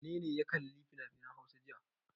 Wane ne ya kalli finafinan Hausa jiya?